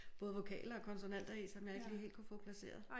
Både vokaler og konsonanter i som jeg ikke lige helt kunne få placeret